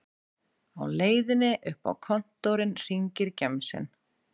Á leiðinni upp á kontórinn hringir gemsinn